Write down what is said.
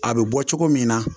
A bɛ bɔ cogo min na